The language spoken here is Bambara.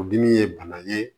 O dimi ye bana ye